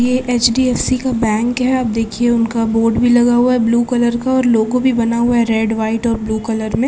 ये H D F C का bank है आप देखिये उनका बोर्ड भी लगा हुआ है ब्लू कलर का और लोगो भी बना हुआ है रेड वाइट और ब्लू कलर में।